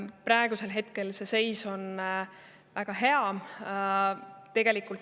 Praegu see seis on väga hea.